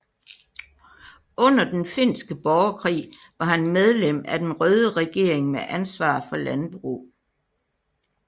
Under den finske borgerkrig var han medlem af den røde regering med ansvar for landbrug